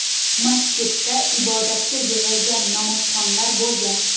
Masjidda ibodatga yig‘ilgan namozxonlar bo‘lgan.